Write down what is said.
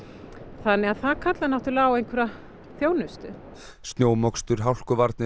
þannig að það kallar náttúrulega á einhverja þjónustu snjómokstur hálkuvarnir og